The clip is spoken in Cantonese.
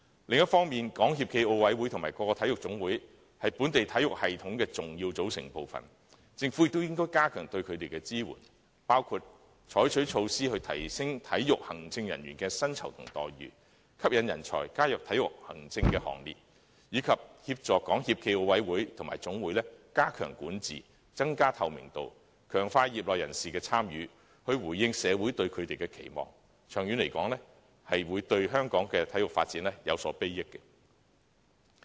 另一方面，中國香港體育協會暨奧林匹克委員會和各個體育總會，是本地體育系統的重要組成部分，政府應加強對它們的支援，包括採取措施提升體育行政人員的薪酬和待遇，吸引人才加入體育行政的行列，以及協助港協暨奧委會及各總會加強管治，增加透明度，強化業內人士的參與，以回應社會對它們的期望；長遠來說，對香港的體育發展也有裨益。